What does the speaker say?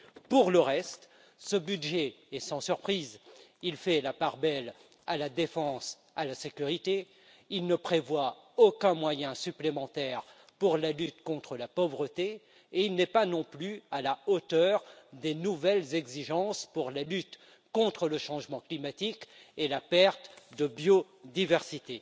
Pour le reste, ce budget est sans surprise il fait la part belle à la défense et à la sécurité, il ne prévoit aucun moyen supplémentaire pour la lutte contre la pauvreté et il n'est pas non plus à la hauteur des nouvelles exigences pour la lutte contre le changement climatique et la perte de biodiversité.